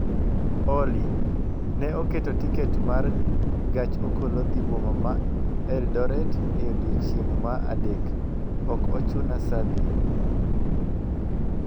Olly, ne aketo tiket ma gach okolo dhi boma ma Eldoret e odiechieng' ma adek, ok ochuna saa adi